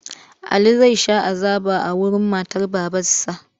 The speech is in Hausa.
Ali zai sha azaba a wurin matar babansa.